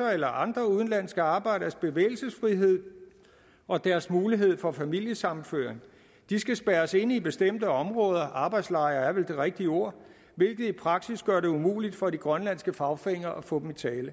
eller andre udenlandske arbejderes bevægelsesfrihed og deres mulighed for familiesammenføring de skal spærres inde i bestemte områder arbejdslejre er vel det rigtige ord hvilket i praksis gør det umuligt for de grønlandske fagforeninger at få dem i tale